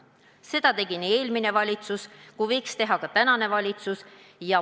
Seda tegi eelmine valitsus ja võiks teha ka tänane valitsus.